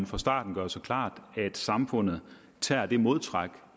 fra starten gøre sig klart at samfundet tager det modtræk